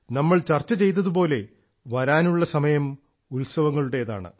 നമ്മൾ ചർച്ച ചെയ്തതു പോലെ വരാനുള്ള സമയം ഉത്സവങ്ങളുടേതാണ്